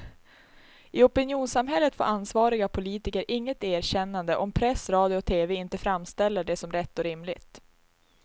I opinionssamhället får ansvariga politiker inget erkännande om press, radio och tv inte framställer det som rätt och rimligt.